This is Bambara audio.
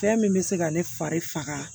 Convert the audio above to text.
Fɛn min bɛ se ka ne fari faga